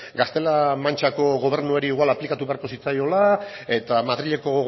gaztela mantxako gobernuari igual aplikatu beharko zitzaiola eta madrileko